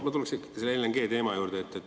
Tuleksin ikkagi selle LNG-teema juurde.